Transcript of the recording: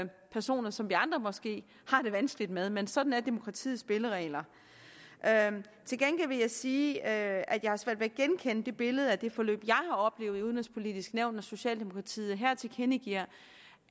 personer som vi andre måske har det vanskeligt med men sådan er demokratiets spilleregler til gengæld vil jeg sige at jeg har svært ved at genkende det billede af det forløb jeg har oplevet i udenrigspolitisk nævn når socialdemokratiet her tilkendegiver